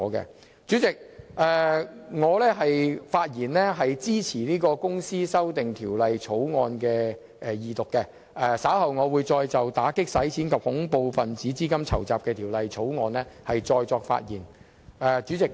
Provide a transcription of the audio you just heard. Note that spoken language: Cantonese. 代理主席，我發言支持《條例草案》的二讀，稍後還會再就《2017年打擊洗錢及恐怖分子資金籌集條例草案》發言。